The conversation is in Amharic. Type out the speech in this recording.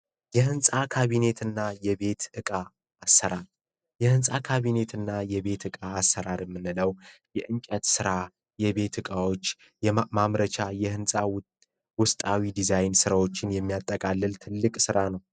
የህንፃ ካቢኔትና የቤት ዕቃ አሰራር ዕቃቢና የቤት ዕቃ አሰራር የምንለው የእንጨት ስራ የቤት እቃዎች ማምረቻ የህንፃ ውስጣዊ ዲዛይን ስራዎችን የሚያጠቃልል ትልቅ ስራ ነው